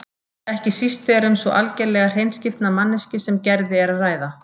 Ekki síst þegar um svo algerlega hreinskiptna manneskju sem Gerði er að ræða.